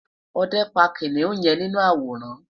òde pa kiniun yen ninu aworan